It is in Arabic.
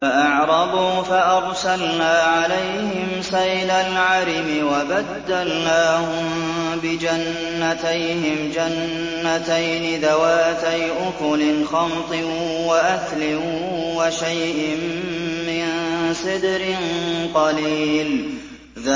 فَأَعْرَضُوا فَأَرْسَلْنَا عَلَيْهِمْ سَيْلَ الْعَرِمِ وَبَدَّلْنَاهُم بِجَنَّتَيْهِمْ جَنَّتَيْنِ ذَوَاتَيْ أُكُلٍ خَمْطٍ وَأَثْلٍ وَشَيْءٍ مِّن سِدْرٍ قَلِيلٍ